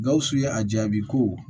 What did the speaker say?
Gawusu ye a jaabi ko